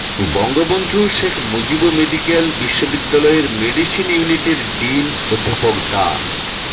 Bangabandhu Sheikh Mujib medical বিশ্ববিদ্যালয়ের medicine ইউনিটের dean অধ্যাপক ডা